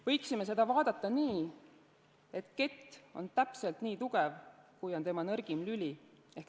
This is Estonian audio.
Võiksime seda vaadata nii, et kett on täpselt nii tugev, kui on tema nõrgim lüli.